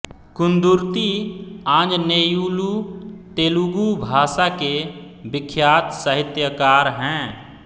कुंदुर्ति आंजनेयुलु तेलुगू भाषा के विख्यात साहित्यकार हैं